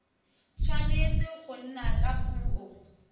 tshwanetse go nna ka puo